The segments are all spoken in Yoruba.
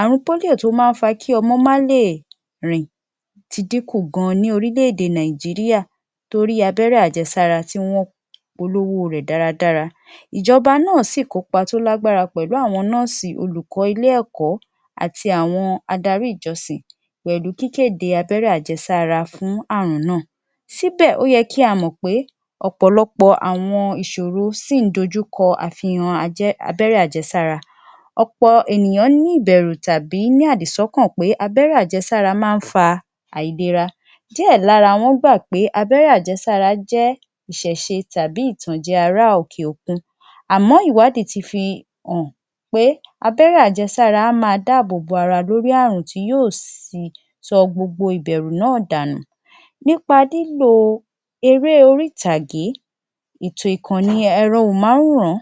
Àrùn polio tó máa ń fa kí ọmọ má lè rìn ti dínkù gan ní orílè-èdè Nàìjíríà torí abẹ́rẹ́ ajẹsára tí wọ́n polówó rẹ̀ dáradára. Ìjọba náà sì kópa tó lágbára pẹ̀lú àwọn nọ́ọ̀sì olùkọ́ ilé-ẹ̀kọ́ àti àwọn adarí ìjọsìn pẹ̀lú kíkéde abẹ́rẹ́ ajẹsára fún àrùn náà. Síbẹ̀ ó yẹ kí a mọ̀ pé ọ̀pọ̀lọpọ̀ àwọn ìṣòro sì ń dojú kọ àfihàn ajé abẹ́rẹ́ ajẹsára. Ọ̀pọ̀ ènìyàn ní ìbẹ̀rù tàbí ní àdìsọ́kàn pé abẹ́rẹ́ ajẹsára máa ń fa àìlera. Díẹ̀ lára wọn gbà pé abẹ́rẹ́ ajẹsára jẹ́ ìṣẹ̀ṣe tàbí ìtànjẹ́ ará òkè-òkun. Àmọ́ ìwádìí fi hàn pé abẹ́rẹ́ ajẹsára máa dáàbòbo ara lórí àrùn tí yóò sì sọ gbogbo ìbẹ̀rù náà dànù. Nípa lílò eré-orítàgé ètò ìkànnì ẹ̀rọ ohùnmáwòrán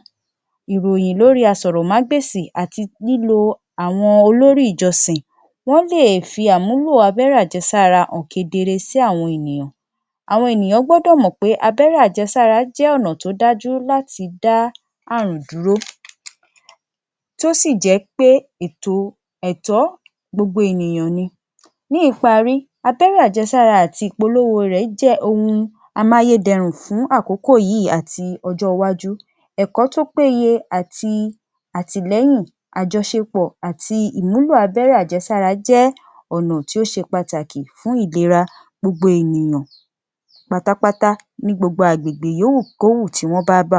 ìròyìn lórí asọ̀rọ̀mágbèsì àti lílo àwọn olórí ìjọsìn, wọ́n lè fi àmúlò abẹ́rẹ́ ajẹsára hàn kedere sí àwọn ènìyàn. Àwọn ènìyàn gbọ́dọ̀ mọ̀ pé abẹ́rẹ́ ajẹsára jẹ́ ọ̀nà tó dájú láti dá àrùn dúró tó sì jẹ́ pé ètò ẹ̀tọ́ gbogbo ènìyàn ni. Ní ìparí, abẹ́rẹ́ ajẹsára àti ìpolówó rẹ̀ jẹ́ ohun amáyédẹrùn fún àkókò yìí àti ọjọ́ iwájú. Ẹ̀kọ́ tó péye àti àtìlẹ́hìn àjọṣepọ̀ àti ìmúlò abẹ́rẹ́ ajẹsára jẹ́ ọ̀nà tí ó se pàtàkì fún ìlera gbogbo ènìyàn. Pátápátá ni gbogbo àgbègbè yóò wù kó wù tí wọ́n bába